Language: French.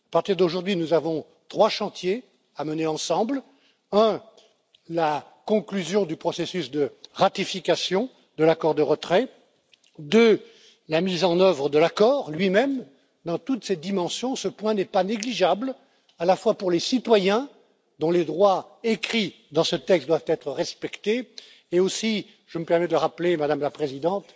À partir d'aujourd'hui, nous avons trois chantiers à mener ensemble. Le premier la conclusion du processus de ratification de l'accord de retrait. Le deuxième la mise en œuvre de l'accord lui même, dans toutes ses dimensions. Ce point n'est pas négligeable, à la fois pour les citoyens dont les droits écrits dans ce texte doivent être respectés, et aussi, je me permets de le rappeler, Madame la Présidente